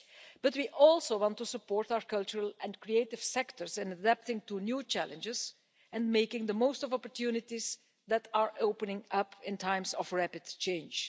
But we also want to support our cultural and creative sectors in adapting to new challenges and making the most of opportunities that are opening up in times of rapid change.